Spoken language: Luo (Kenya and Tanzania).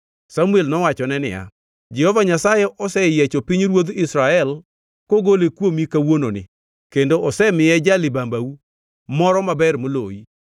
Samuel nowachone niya, “Jehova Nyasaye oseyiecho pinyruodh Israel kogole kuomi kawuononi kendo osemiye ja-libambau moro maber moloyi.